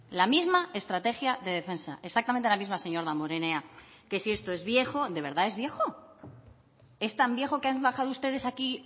la misma estrategia de defensa exactamente la misma señor damborenea que si esto es viejo de verdad es viejo es tan viejo que han bajado ustedes aquí